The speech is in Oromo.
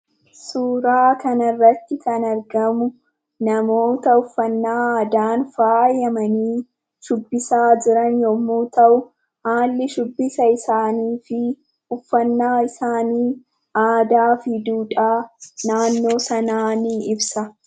Suuraa kana irratti kan argamu, namoota uffannaa aadaan faayamanii shubbisaa jiran yemmuu ta'u, haalli shubbisa isaanii fi uffannaa isaanii aadaa fi duudhaa naannoo sanaa ni ibsa.